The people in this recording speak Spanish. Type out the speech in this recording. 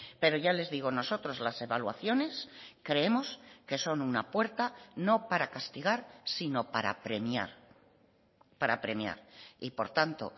pero ya les digo nosotros las evaluaciones creemos que son una puerta no para castigar sino para premiar para premiar y por tanto